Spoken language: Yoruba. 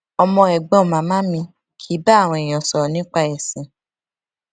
ọmọ ègbón màmá mi kì í bá àwọn èèyàn sòrò nípa èsìn